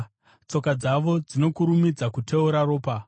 “Tsoka dzavo dzinokurumidza kuteura ropa;